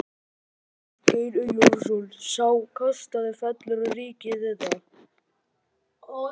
Magnús Geir Eyjólfsson: Sá kostnaður fellur á ríkið eða?